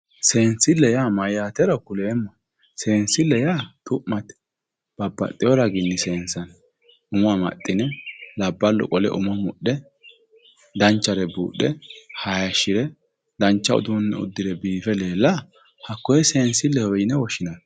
Seensille yaa mayyaatero kuleemmohe. Seensille yaa xu'mate babbaxewo raginni seensanni. Umo amaxxine, labballu qole umo mudhe danchare buudhe haayiishire dancha uduunne uddire biife leella hakkoye seensilleho yine woshshinanni.